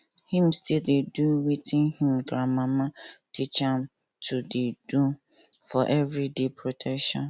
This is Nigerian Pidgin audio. him still dey do watin him gran mama teach am to dey do for every day protection